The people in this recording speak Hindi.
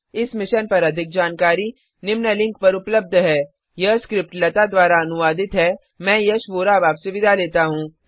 इस मिशन पर अधिक जानकारी निम्न लिंक पर उपलब्ध है httpspoken tutorialorgNMEICT Intro यह स्क्रिप्ट लता द्वारा अनुवादित है मैं यश वोरा अब आपसे विदा लेता हूँ